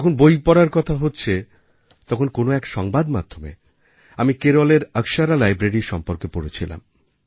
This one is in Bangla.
যখন বই পড়ার কথা হচ্ছে তখন কোন এক সংবাদমাধ্যমে আমি কেরলের অক্ষরা লাইব্রেরি সম্বন্ধে পড়েছিলাম